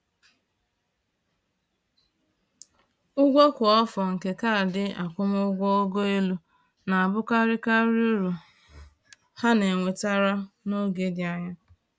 Ụgwọ kwa afọ nke kaadị akwụmụgwọ ogo elu na-abụkarị karịa uru ha na-ewetara n’oge dị anya